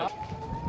Ay Hacı!